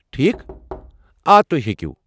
ٹھیک ، آ، تُہۍ ہیٚکِو۔